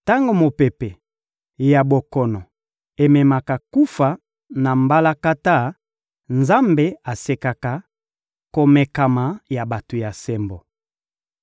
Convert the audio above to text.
Tango mopepe ya bokono ememaka kufa na mbalakata, Nzambe asekaka komekama ya bato ya sembo.